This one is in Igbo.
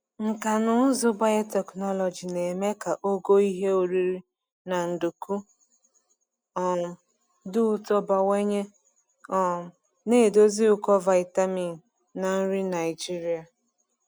Nkà na ụzụ biotechnology na-eme ka ogo ihe oriri na nduku um dị ụtọ bawanye, um na-edozi ụkọ vitamin na nri Naijiria.